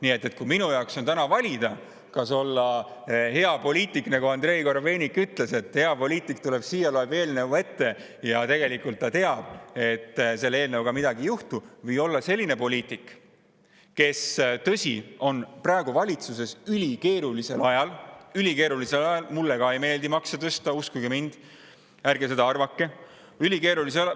Nii et kui minul on täna valida, kas olla hea poliitik, nagu Andrei Korobeinik ütles, et hea poliitik tuleb siia, loeb eelnõu ette, kuigi ta tegelikult teab, et selle eelnõuga midagi edasi ei juhtu, või olla selline poliitik, kes, tõsi, on valitsuses ülikeerulisel ajal – ülikeerulisel ajal, mulle ka ei meeldi makse tõsta, uskuge mind, ärge seda arvake …